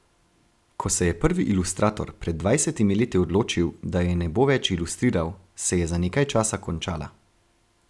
Ko se je prvi ilustrator pred dvajsetimi leti odločil, da je ne bo več ilustriral, se je za nekaj časa končala.